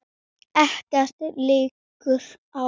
Ekkert liggur á